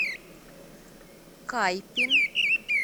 кайпин